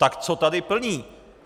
Tak co tady plní?